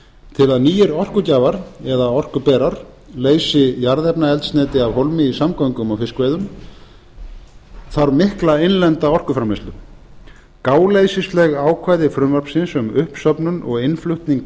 til að nýir orkugjafar eða orkuberar leysi jarðefnaeldsneyti af hólmi í samgöngum og fiskveiðum þarf mikla innlenda orkuframleiðslu gáleysisleg ákvæði frumvarpsins um uppsöfnun og innflutning